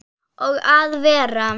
Og að vera